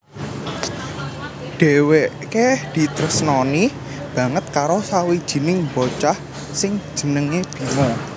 Dheweke ditresnani banget karo sawijining bocah sing jenenge Bima